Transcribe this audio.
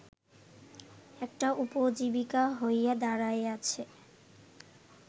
একটা উপজীবিকা হইয়া দাঁড়াইয়াছে